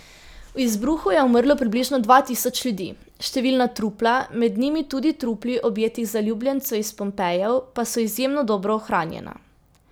V izbruhu je umrlo približno dva tisoč ljudi, številna trupla, med njimi tudi trupli objetih zaljubljencev iz Pompejev, pa so izjemno dobro ohranjena.